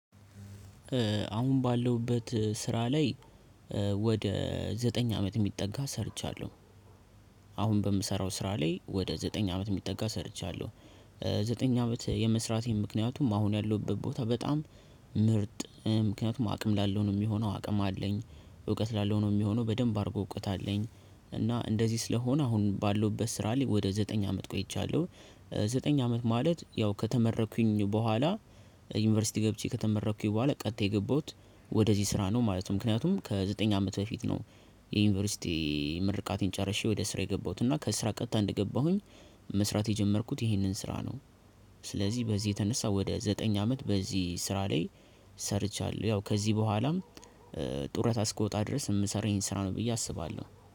አሁን ባለሁበት ስራ ላይ ወደ ዘጠኝ አመት የሚጠጋ ሰርቻለሁ። አሁን በምሰራው ስራ ላይ ወደ ዘጠኝ አመት የሚጠጋ ሰርቻለሁ። ዘጠኝ አመት የመስራቴን ምክንያቱም አሁን ያለሁበት ቦታ በጣም ምርጥ ምክንያቱም አቅም ላለው ነው የሚሆነው አቅም አለኝ እውቀት ላለው ነው የሚሆነው በደንብ አድርጎ እውቀት አለኝ። እና እንደዚህ ስለሆነ አሁን ባለሁበት ስራ ላይ ወደ ዘጠኝ ቆይቻለሁኝ። ዘጠኝ አመት ማለት ያው ከተመረኩኝ በኋላ ዩኒቨርሲቲ ገብቼ ከተመረኩኝ በኋላ ቀጥታ የገባሁት ወደዚህ ስራ ነው ማለት ነው። ምክንያቱም ከዘጠኝ አመት በፊት ነው። የዩኒቨርሲቲ ምርቃቴን ጨርሼ ወደ ስራ የገባሁትና ከስራ ቀጥታ እንደገባሁኝ መስራት የጀመርኩት ይህንን ስራ ነው። ስለዚህ በዚህ የተነሳ ወደ ዘጠኝ አመት በዚህ ስራ ላይ ሰርቻለሁ። ያው ከዚህ በኋላም ጡረታ እስክወጣ ድረስ የምሰራው ይሄን ስራ ነው ብዬ አስባለሁ